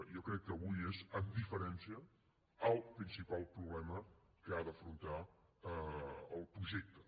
jo crec que avui és amb diferència el principal problema que ha d’afrontar el projecte